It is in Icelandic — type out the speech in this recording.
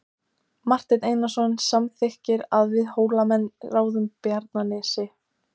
Marteinn Einarsson samþykkir að við Hólamenn ráðum Bjarnanesi.